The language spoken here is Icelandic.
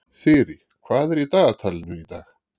Þyrí, hvað er í dagatalinu í dag?